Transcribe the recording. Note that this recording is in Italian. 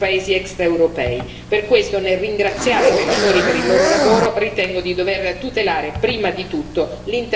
Per questo, nel ringraziare i relatori per il loro lavoro, ritengo di dover tutelare, prima di tutto, l'interesse dei nostri pescatori.